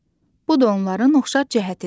Bu da onların oxşar cəhətidir.